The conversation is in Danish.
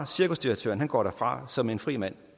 cirkusdirektøren går derfra som en fri mand